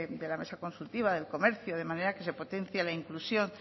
de la mesa consultiva del comercio de manera que se potencie la inclusión